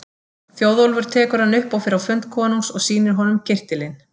Þjóðólfur tekur hann upp og fer á fund konungs og sýnir honum kyrtilinn.